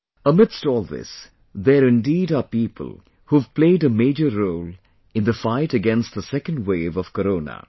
Amidst all this, there indeed are people who've played a major role in the fight against the second wave of Corona